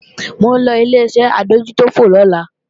Mò ń lọ Ileṣẹ́ adójútòfò lọ́la